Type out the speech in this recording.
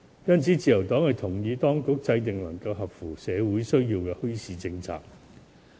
因此，自由黨認同當局制訂切合社會需要的墟市政策。